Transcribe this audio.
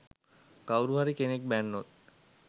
කවුරුහරි කෙනෙක් බැන්නොත්